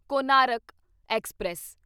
Konark express